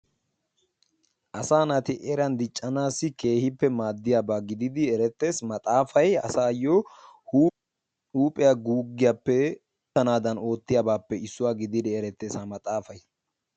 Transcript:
Asaa naati eran diccanaassi keehippe maaddiyaba gididi erettees. Maaxaafay asaayyo huuphiya guuggiyappe erttanaadan issuwa gididi erettees ha maxaafay.